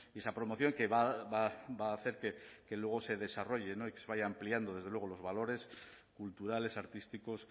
esa promoción que va a hacer que luego se desarrolle y que se vayan ampliando los valores culturales artísticos